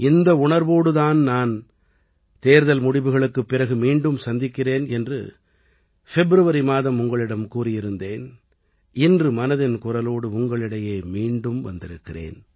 இந்த உணர்வோடு தான் நான் தேர்தல் முடிவுகளுக்குப் பிறகு மீண்டும் சந்திக்கிறேன் என்று ஃபிப்ரவரி மாதம் உங்களிடம் கூறியிருந்தேன் இன்று மனதின் குரலோடு உங்களிடையே மீண்டும் வந்திருக்கிறேன்